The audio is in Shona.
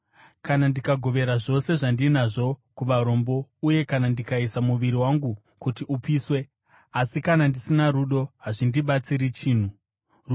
Kana ndikagovera zvose zvandinazvo kuvarombo uye kana ndikaisa muviri wangu kuti upiswe, asi kana ndisina rudo, hazvindibatsiri chinhu.